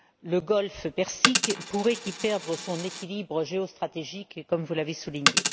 Le Golfe Persique pourrait y perdre son équilibre géostratégique, comme vous l'avez souligné.